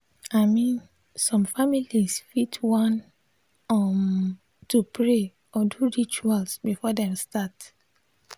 i min som familiz fit wan um to pray or do rituals before dem start